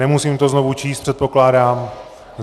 Nemusím to znovu číst, předpokládám...